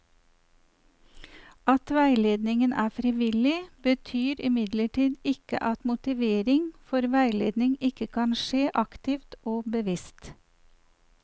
At veiledningen er frivillig, betyr imidlertid ikke at motivering for veiledning ikke kan skje aktivt og bevisst.